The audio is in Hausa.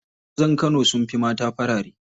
Mazan kano sun fi mata farare.